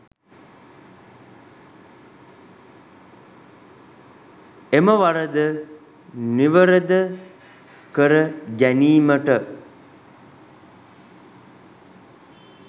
එම වරද නිවරද කර ගැනීමට